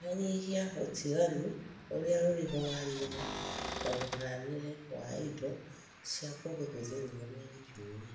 Nyihanyihia utiganu ũrĩa ũrĩ ho wa rĩera na mũhanĩre wa indo cia kũhũthĩrwo nĩ njui .